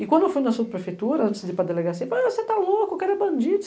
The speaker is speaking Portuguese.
E quando eu fui na subprefeitura, antes de ir para delegacia, você tá louco, o cara é bandido.